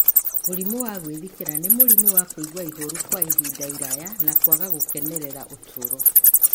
Mũrimũ wa gwĩthikĩra nĩ mũrimũ wa kũigua ihoru kwa ihinda iraya, na kwaga gũkenera ũtũũro.